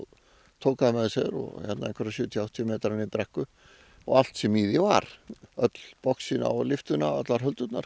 tók það með sér einhverja sjötíu til áttatíu metra niður brekku og allt sem í því var öll boxin á lyftuna allar